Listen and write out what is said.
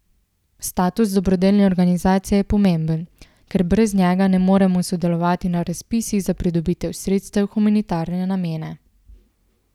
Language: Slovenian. Status dobrodelne organizacije je pomemben, ker brez njega ne morejo sodelovati na razpisih za pridobitev sredstev v humanitarne namene.